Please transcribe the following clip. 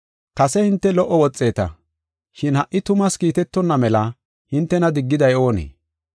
Kase hinte lo77o woxeeta, shin ha77i tumaas kiitetonna mela hintena diggiday oonee?